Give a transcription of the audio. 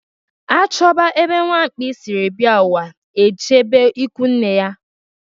A chọba ebe nwamkpi siri bịa ụwa ejebe ikunne ya